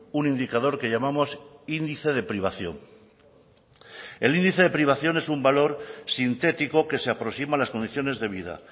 un indicador que llamamos índice de privación el índice de privación es un valor sintético que se aproxima a las condiciones de vida